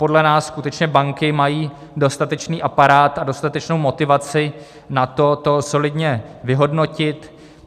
Podle nás skutečně banky mají dostatečný aparát a dostatečnou motivaci na to, solidně to vyhodnotit.